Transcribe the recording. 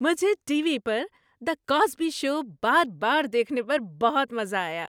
مجھے TV پر "the Cosby show" بار بار دیکھنے پر بہت مزہ آیا۔